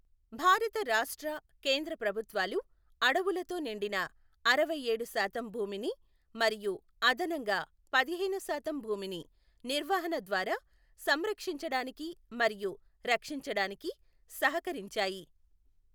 భారత రాష్ట్ర, కేంద్ర ప్రభుత్వాలు అడవులతో నిండిన అరవైఏడు శాతం భూమిని మరియు అదనంగా పదిహేను శాతం భూమిని నిర్వహణ ద్వారా సంరక్షించడానికి మరియు రక్షించడానికి సహకరించాయి.